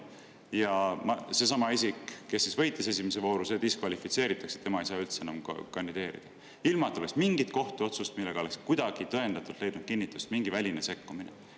Ja seesama isik, kes võitis esimese vooru, diskvalifitseeritakse, tema ei saa üldse enam kandideerida, ilma et oleks mingit kohtuotsust, millega oleks kuidagi tõendatud, leidnud kinnitust mingi väline sekkumine.